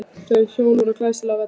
Þau hjón voru glæsileg á velli.